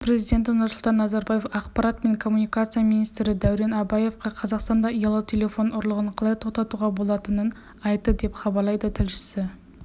қазақстан президенті нұрсұлтан назарбаев ақпарат және коммуникация министрі дәурен абаевқа қазақстанда ұялы телефон ұрлығын қалай тоқтатуға болатынын айтты деп хабарлайды тілшісі